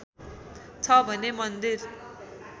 छ भने मन्दिर